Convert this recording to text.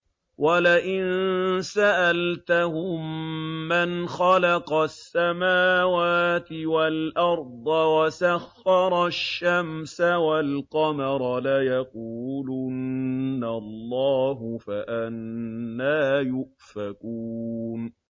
وَلَئِن سَأَلْتَهُم مَّنْ خَلَقَ السَّمَاوَاتِ وَالْأَرْضَ وَسَخَّرَ الشَّمْسَ وَالْقَمَرَ لَيَقُولُنَّ اللَّهُ ۖ فَأَنَّىٰ يُؤْفَكُونَ